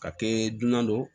Ka kɛ dunan don